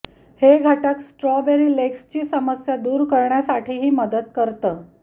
हे घटक स्ट्रॉबेरी लेग्सची समस्या दूर करण्यासाठीही मदत करतं